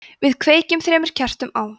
við kveikjum þremur kertum á